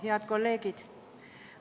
Head kolleegid!